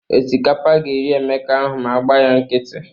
Osikapa ga-eri Emeka ahụ ma a agba ya nkịtị.